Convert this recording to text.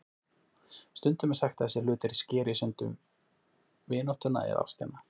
Stundum er sagt að þessir hlutir skeri í sundur vináttuna eða ástina.